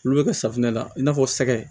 Olu bɛ kɛ safunɛ la i n'a fɔ sɛgɛn